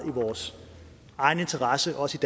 i vores egen interesse også